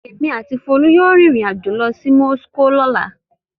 Èmi àti Folú yóò rìnrìn-àjò lọ sí Moscow lọ́la.